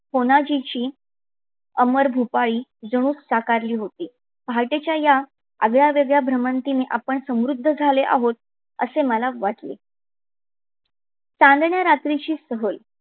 कोनाजिची अमर भूपाळी जणू साकारली होती. पहाटेच्या या आगळ्या वेगळ्या भ्रमंतीने आपण समृद्ध झाले आहोत मला वाटते. चांदण्या रात्रीची सहल